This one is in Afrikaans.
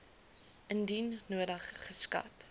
indien nodig geskat